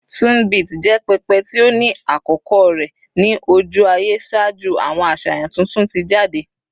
Tunbit jẹ pẹpẹ ti o ni akoko rẹ ni oju-aye ṣaaju awọn aṣayan tuntun ti jade